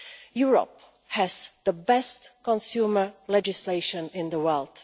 Europe has the best consumer legislation in the world.